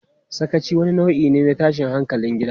Sakaci wani nau'i ne na tashin hankalin gida.